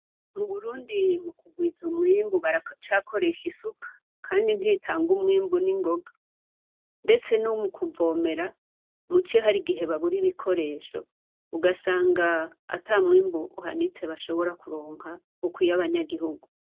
Mu Burundi mu kugwiza umwimbu baracakoresha isuka, kandi ntitanga umwimbu n'ingoga. Ndetse no mu kuvomera muci hari igihe babura ibikoresho, ugasanga ata mwimbu uhanitse bashobora kuronka, ukwiye abanyagihugu.